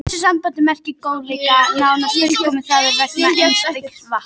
Í þessu sambandi merkir góðleiki nánast fullkomnun, það að vera einskis vant.